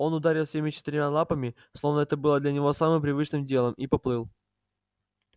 он ударил всеми четырьмя лапами словно это было для него самым привычным делом и поплыл